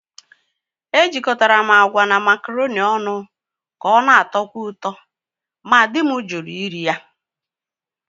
Ejikọtara m agwa na macaroni ọnụ ka ọ na-atọkwu ụtọ, ma di m jụrụ ire ya.